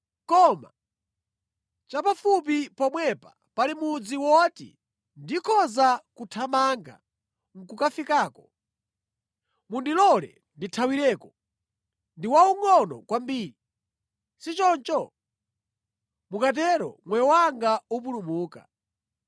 Koma, chapafupi pomwepa pali mudzi woti ndikhoza kuthamanga nʼkukafikako. Mundilole ndithawireko, ndi waungʼono kwambiri, si choncho? Mukatero, moyo wanga upulumuka.”